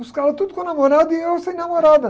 E os caras tudo com namorada e eu sem namorada.